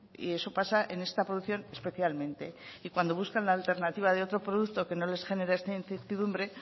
y eso pasa en esta producción especialmente y cuando buscan la alternativa de otro producto que no les genera esta incertidumbre